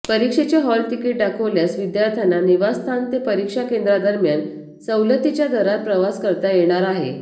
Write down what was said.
परीक्षेचे हॉलतिकीट दाखवल्यास विद्यार्थ्यांना निवासस्थान ते परीक्षा केंद्रादरम्यान सवलतीच्या दरात प्रवास करता येणार आहे